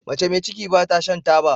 Mace me ciki bata Shan taba